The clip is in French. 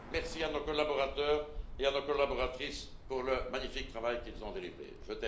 Merci à nos collaborateurs et à nos collaboratrices pour le magnifique travail qu'ils ont fourni.